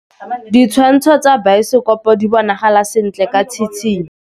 Ditshwantshô tsa biosekopo di bonagala sentle ka tshitshinyô.